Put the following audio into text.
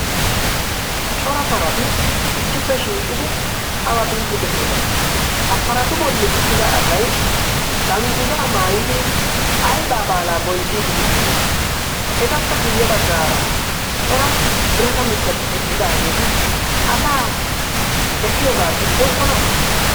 cora parati issippe shiiqidi aba biiddi de'iyoona ha paratu bolli uttida asay dangguzaa maayidi aybaa baalaa bonchchiidi de'iyoona etappe guyye baggaara cora birata mittati eqqidaageeti asaa be'iyoogaa diggokkona